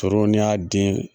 Tooro n'i y'a den